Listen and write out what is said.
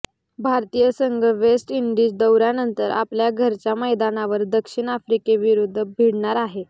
भारतीय संघ West Indies दौऱ्यानंतर आपल्या घरच्या मैदानावर दक्षिण आफ्रिकेविरोधात भिडणार आहे